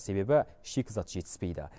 себебі шикізат жетіспейді